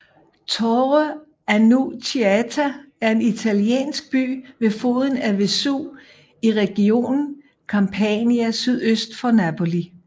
Torre Annunziata er en italiensk by ved foden af Vesuv i regionen Campania sydøst for Napoli